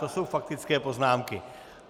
To jsou faktické poznámky.